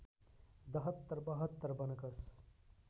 दहत्तर बहत्तर वनकस